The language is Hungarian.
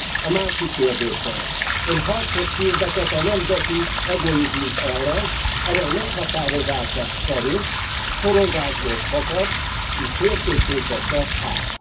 A másik kérdésem Ön harcot hirdetett a nemzeti egoizmus ellen, amely meghatározása szerint szorongásból fakad és szélsőségbe csap át.